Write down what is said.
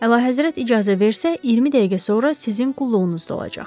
Əlahəzrət icazə versə 20 dəqiqə sonra sizin qulluğunuzda olacaq.